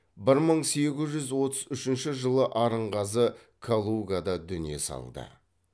бір мың сегіз жүз отыз үшінші жылы арынғазы калугада дүние салды